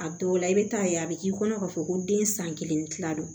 A dɔw la i bɛ taa ye a bɛ k'i kɔnɔ k'a fɔ ko den san kelen ni kila don